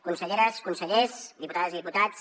conselleres consellers diputades i diputats